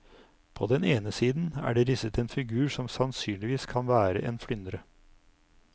På den ene siden er det risset en figur som sannsynligvis kan være en flyndre.